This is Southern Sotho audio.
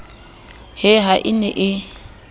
he ha e ne e